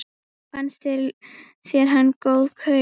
Fannst þér hann góð kaup?